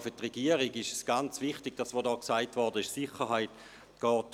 Auch für die Regierung ist es wichtig, dass die Sicherheit vorgeht.